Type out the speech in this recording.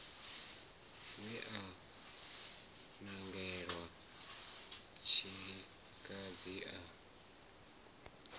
we a nangelwa tshilikadzi a